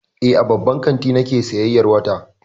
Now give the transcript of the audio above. Eh, a babban kanti nake sayyayar wata.